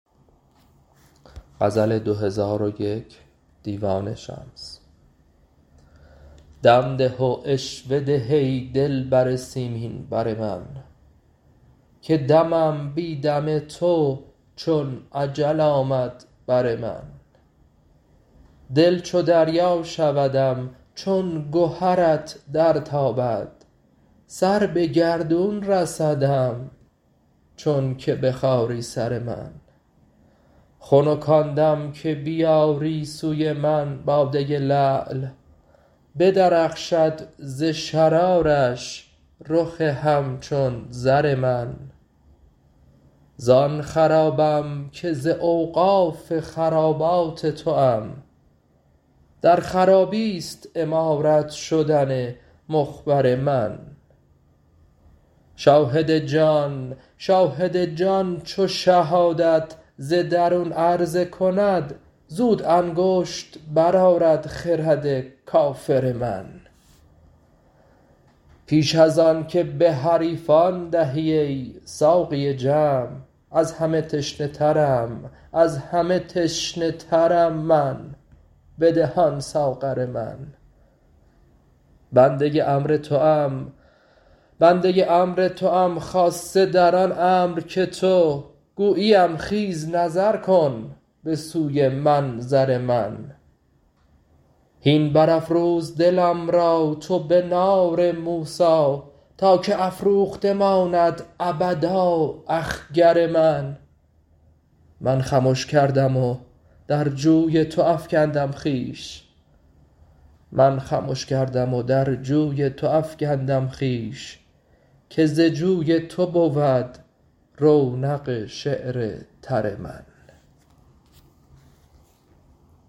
دم ده و عشوه ده ای دلبر سیمین بر من که دمم بی دم تو چون اجل آمد بر من دل چو دریا شودم چون گهرت درتابد سر به گردون رسدم چونک بخاری سر من خنک آن دم که بیاری سوی من باده لعل بدرخشد ز شرارش رخ همچون زر من زان خرابم که ز اوقاف خرابات توام در خرابی است عمارت شدن مخبر من شاهد جان چو شهادت ز درون عرضه کند زود انگشت برآرد خرد کافر من پیش از آنک به حریفان دهی ای ساقی جمع از همه تشنه ترم من بده آن ساغر من بنده امر توام خاصه در آن امر که تو گویی ام خیز نظر کن به سوی منظر من هین برافروز دلم را تو به نار موسی تا که افروخته ماند ابدا اخگر من من خمش کردم و در جوی تو افکندم خویش که ز جوی تو بود رونق شعر تر من